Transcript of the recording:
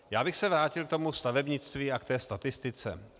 Já bych se vrátil k tomu stavebnictví a k té statistice.